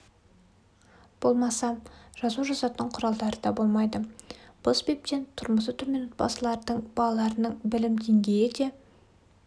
болмаса жазу жазатын құралдары да болмайды бұл себептен тұрмысы төмен отбасылардың балаларының білім деңгейі де